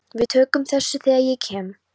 Við tökum á þessu þegar ég kem.